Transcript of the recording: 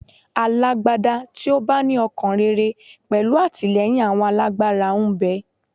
Alágbádá tí ó bá ní ọkàn rere pẹ̀lú àtìlẹ́yìn àwọn alágbára ń bẹ.